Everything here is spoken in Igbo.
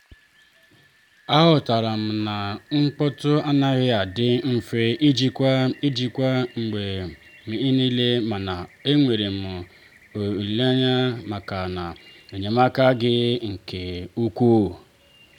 a ghọtara m na mkpọ́tụ̀ anaghi adị mfe ijikwa ijikwa mgbe niilemana e nwee m ekele maka enyemaka gị nke ukwuu.